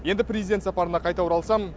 енді президент сапарына қайта оралсам